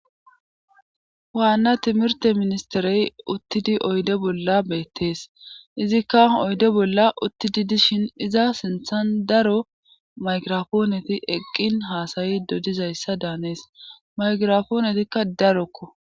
Waanna timirte ministerey uttidi oyde bolla beettees izikka oyde bolla uttidi dishin iza sinthan daro maygirapooneti eqqin haasayi dodizayssa daanees maygirafoonetikka darokko